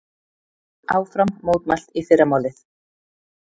Áfram mótmælt í fyrramálið